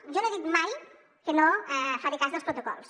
jo no he dit mai que no faré cas dels protocols